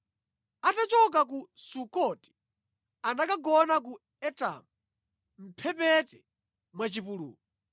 Atachoka ku Sukoti anakagona ku Etamu mʼmphepete mwa chipululu.